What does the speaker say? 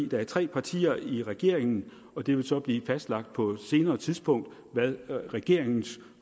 der er tre partier i regeringen og det vil så blive fastlagt på et senere tidspunkt hvad regeringens